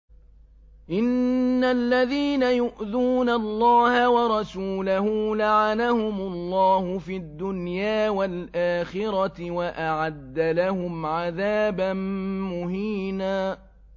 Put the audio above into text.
إِنَّ الَّذِينَ يُؤْذُونَ اللَّهَ وَرَسُولَهُ لَعَنَهُمُ اللَّهُ فِي الدُّنْيَا وَالْآخِرَةِ وَأَعَدَّ لَهُمْ عَذَابًا مُّهِينًا